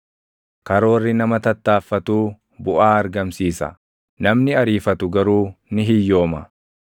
Karoorri nama tattaaffatuu buʼaa argamsiisa; namni ariifatu garuu ni hiyyooma.